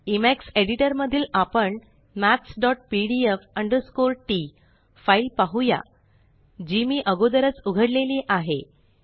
इमेक्स editor मधील आपण mathspdf t maths PDF T file पाहूया जी मी अगोदरच उघडलेली आहे